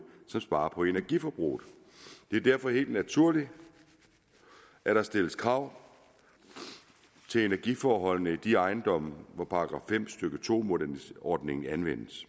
der sparer på energiforbruget det er derfor helt naturligt at der stilles krav til energiforholdene i de ejendomme hvor § fem stykke to ordningen anvendes